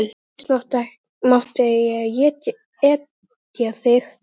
En síst mátti ég etja þér.